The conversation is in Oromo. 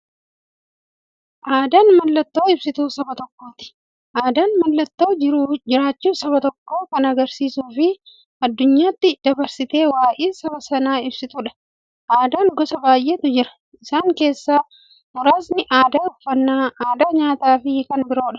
Aadaan mallattoo ibsituu saba tokkooti. Aadaan mallattoo jiraachuu saba tokkoo kan agarsiistufi addunyyaatti dabarsitee waa'ee saba sanaa ibsituudha. Aadaan gosa baay'eetu jira. Isaan keessaa muraasni aadaa, uffannaa aadaa nyaataafi kan biroo.